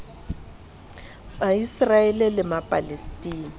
ma israel le ma palestina